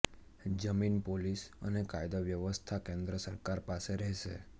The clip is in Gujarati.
જમીન પોલીસ અને કાયદો વ્યવસ્થા કેન્દ્ર સરકાર પાસે રહેશે